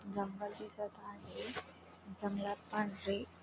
जंगल दिसत आहे जंगलात पांढरे --